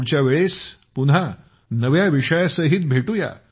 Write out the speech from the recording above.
पुढच्या वेळेस पुन्हा नव्या विषयासहित भेटू या